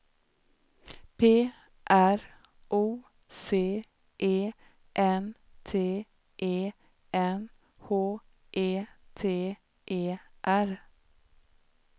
P R O C E N T E N H E T E R